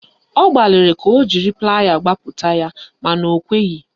Ọ gbaliri ka o jiri playa kpapụta ya mana o kweghị